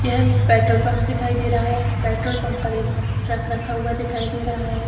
यह एक petrol pump दिखाई दे रहा है प्रट्रोल पंप पर एक ट्रक रखा दिखाई दे रहा है।